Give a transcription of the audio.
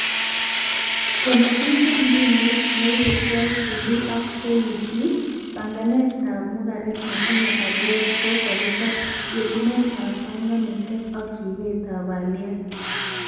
Komakisub mbinuitab neibe KICD ak KEC, banganetab mugaret netinye aliet ko kakichob, yetunetab banganoshek ak ribetab aliet